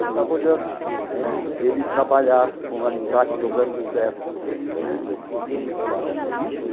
Eu ficava olhando ele trabalhar com alicate, dobrando os ferros tal isso.